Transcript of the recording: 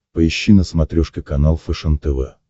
поищи на смотрешке канал фэшен тв